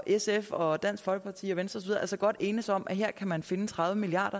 sf og dansk folkeparti og venstre og så godt enes om at her kan man finde tredive milliard